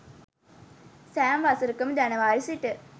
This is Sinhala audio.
සෑම වසරකම ජනවාරි සිට